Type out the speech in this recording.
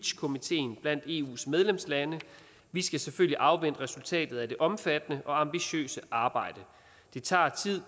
komiteen blandt eus medlemslande vi skal selvfølgelig afvente resultatet af det omfattende og ambitiøse arbejde det tager